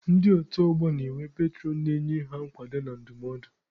Ndị otu ọgbọ na-enwe petụrọn na-enye ha nkwado na ndụmọdụ.